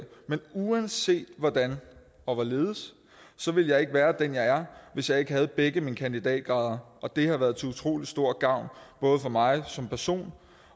men uanset hvordan og hvorledes ville jeg ikke være den jeg er hvis jeg ikke havde begge mine kandidatgrader og det har været til utrolig stor gavn både for mig som person